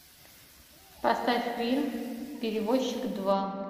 поставь фильм перевозчик два